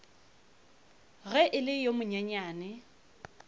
ge e le yo monyenyane